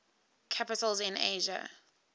capitals in asia